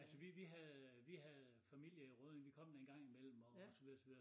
Altså vi vi havde vi havde familie i Rødding vi kom der en gang i mellem og så videre og så videre